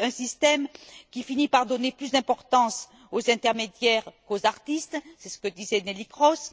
un système qui finit par donner plus d'importance aux intermédiaires qu'aux artistes c'est ce que disait Neelie Kroes